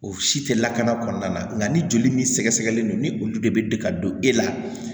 O si tɛ lakana kɔnɔna na nka ni joli min sɛgɛsɛgɛlen don ni olu de bɛ degi e la